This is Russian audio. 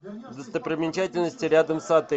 достопримечательности рядом с отелем